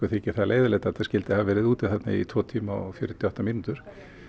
þykir það leiðinlegt að þetta skyldi hafa verið úti í tvo tíma og fjörutíu og átta mínútur